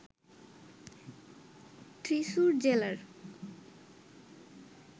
থ্রিস্সুর জেলার